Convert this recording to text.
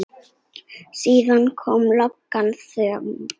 Síðan kom löng þögn.